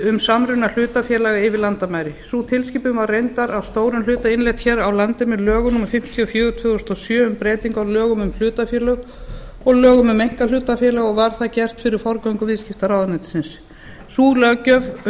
um samruna hlutafélaga yfir landamæri sú tilskipun var reyndar að stórum hluta innleidd hér á landi með lögum númer fimmtíu og fjögur tvö þúsund og sjö um breytingu á lögum um hlutafélög og lögum um einkahlutafélög og var það gert fyrir forgöngu viðskiptaráðuneytisins sú löggjöf